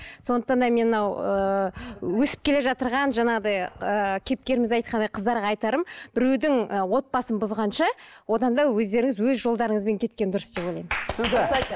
сондықтан да мен мынау ііі өсіп келе жаңағыдай ііі кейіпкеріміз айтқандай қыздарға айтарым біреудің і отбасын бұзғанша одан да өздеріңіз өз жолдарыңызбен кеткен дұрыс деп ойлаймын